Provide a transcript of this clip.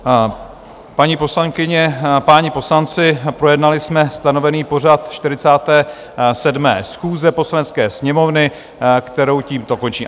Paní poslankyně, páni poslanci, projednali jsme stanovený pořad 47. schůze Poslanecké sněmovny, kterou tímto končím.